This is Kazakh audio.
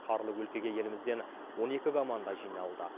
қарлы өлкеге елімізден он екі команда жиналды